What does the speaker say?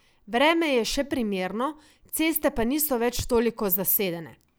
Vreme je še primerno, ceste pa niso več toliko zasedene.